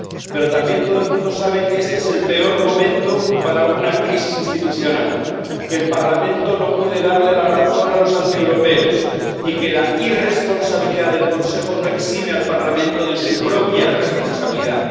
Pero también todo el mundo sabe que este es el peor momento para una crisis institucional, que el Parlamento no puede darle la razón a los antieuropeos y que la irresponsabilidad del Consejo no exime al Parlamento de su propia responsabilidad.